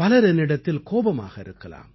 பலர் என்னிடத்தில் கோபமாக இருக்கலாம்